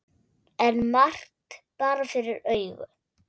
En margt bar fyrir augu.